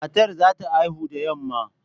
Matar za ta haihu da yamma